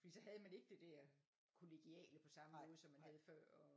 Fordi så havde man ikke det der kollegiale på samme måde som man havde før og